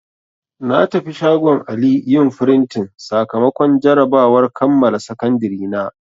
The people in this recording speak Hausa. Na tafi shagon Ali yin frintin sakamakon jarabawar kammala Sakandiri na.